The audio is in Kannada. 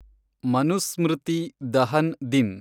ಮನುಸ್ಮೃತಿ ದಹನ್ ದಿನ್